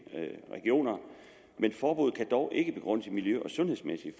regioner men forbuddet kan dog ikke begrundes i miljø og sundhedsmæssige